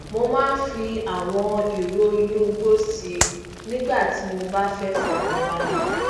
mo máa ń fi àwọn ìró inú igbó si nígbà tí mo bá fẹ fọkanbalẹ